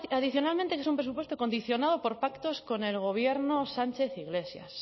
adicionalmente que es un presupuesto condicionado por pactos con el gobierno sánchez iglesias